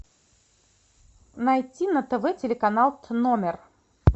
найти на тв телеканал номер